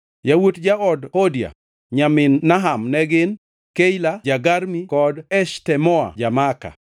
Yawuot jaod Hodia, nyamin Naham ne gin: Keila ja-Garmi kod Eshtemoa ja-Maaka.